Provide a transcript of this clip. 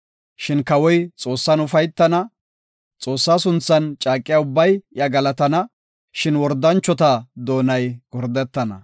Shin kawoy Xoossan ufaytana. Xoossaa sunthan caaqiya ubbay iya galatana; shin wordanchota doonay gordetana.